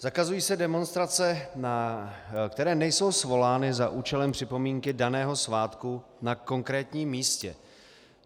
Zakazují se demonstrace, které nejsou svolány za účelem připomínky daného svátku na konkrétním místě.